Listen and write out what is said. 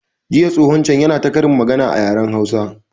Jiya tsohon can yana ta ƙarin magana a yaren hausa